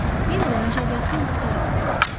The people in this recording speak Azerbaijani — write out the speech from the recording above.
Yenə də məşəqqətli intizar anları başladı.